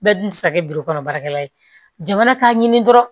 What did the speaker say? Bɛɛ dun tɛ se kɛ kɔnɔ baarakɛla ye jamana k'a ɲini dɔrɔn